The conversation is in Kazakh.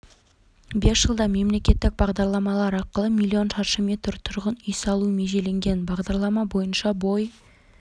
бес жылда мемлекеттік бағдарламалар арқылы миллион шаршы метр тұрғын үй салу межеленген бағдарлама бойынша бой